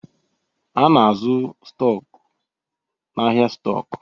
A na-azụ stọk n'ahịa stọk